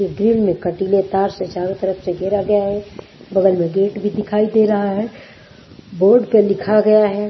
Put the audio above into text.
Grill में कटीले तार से चारों तरफ से घेरा गया है बगल में गेट भी दिखाई दे रहा है बोर्ड पे लिखा गया है।